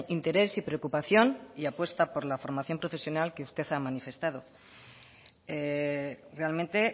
interés y preocupación y apuesta por la formación profesional que usted ha manifestado realmente